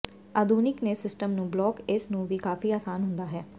ਆਧੁਨਿਕ ਤੇ ਸਿਸਟਮ ਨੂੰ ਬਲਾਕ ਇਸ ਨੂੰ ਵੀ ਕਾਫ਼ੀ ਆਸਾਨ ਹੁੰਦਾ ਹੈ